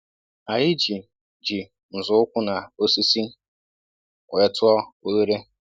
Anyị ji ji nzọụkwụ na osisi wee tụọ oghere